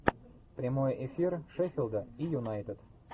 прямой эфир шеффилда и юнайтед